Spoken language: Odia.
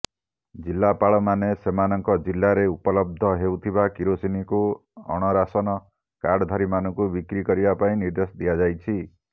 ଜିଲ୍ଲାପାଳମାନେ ସେମାନଙ୍କ ଜିଲ୍ଲାରେ ଉପଲବ୍ଧ ହେଉଥିବା କିରୋସିନିକୁ ଅଣରାସନ କାର୍ଡଧାରୀମାନଙ୍କୁ ବିକ୍ରି କରିବା ପାଇଁ ନିର୍ଦ୍ଦେଶ ଦିଆଯାଇଛି